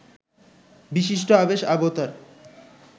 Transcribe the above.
বিশিষ্ট অবেশ অবতার